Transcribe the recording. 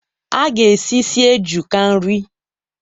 A ga-esi ísì eju ka nri.